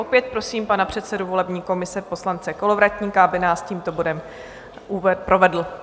Opět prosím pana předsedu volební komise poslance Kolovratníka, aby nás tímto bodem provedl.